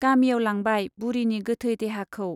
गामियाव लांबाय बुरिनि गोथै देहाखौ।